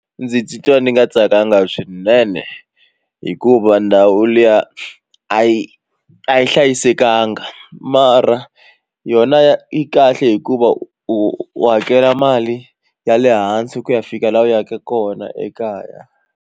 Ndzi titwa ndzi nga tsakanga swinene hikuva ndhawu liya a yi a yi hlayisekanga mara yona yi kahle hikuva u hakela mali ya le hansi ku ya fika laha u yaka kona ekaya.